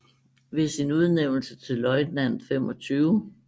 Ved sin udnævnelse til løjtnant 25